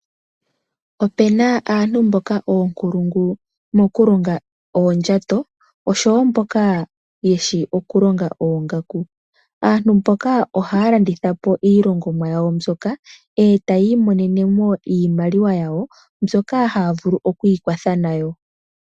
Ope na aantu mboka ookulungu moku longa oondjato oshowo mboka yeshi okulonga oongaku, aantu mboka ohaya landitha po iilongomwa yawo mbyoka e tayi imonene mo iimaliwa yawo mbyoka haya vulu oku ikwatha nayo.